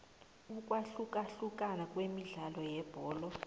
ukwahlukahlukana kwemidlalo yebholo